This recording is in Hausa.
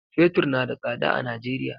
Fetur na da sada a Najeriya.